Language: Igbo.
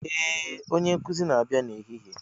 Ee! Onye nkuzi ga-abịa n'ehihie.